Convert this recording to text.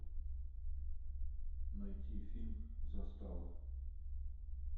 найти фильм застава